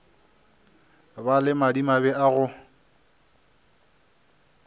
ba le madimabe a go